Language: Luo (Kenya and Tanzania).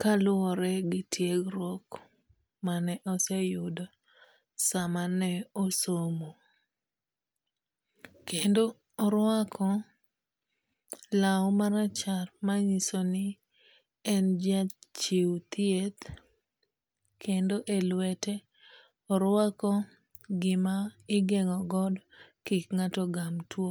Kaluwore gi tiegruok mane oseyudo sama ne osomo. Kendo oruako law marachar manyiso ni en jachiw thieth, kendo e lwete orwako gima igeng'o godo kik ng'ato ogam tuo.